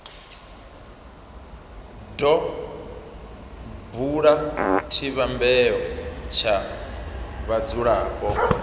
do bula tshivhumbeo tsha vhadzulapo